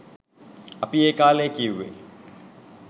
අපි ඒ කාලෙ කිව්වෙ